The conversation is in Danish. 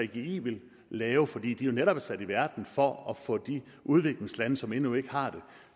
gggi vil lave fordi de netop er sat i verden for at få de udviklingslande som endnu ikke har det